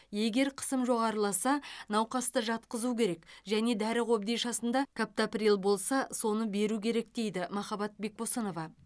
егер қысым жоғарыласа науқасты жатқызу керек және дәрі қобдишасында каптоприл болса соны беру керек дейді махаббат бекбосынова